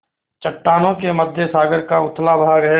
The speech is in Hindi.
चट्टानों के मध्य सागर का उथला भाग है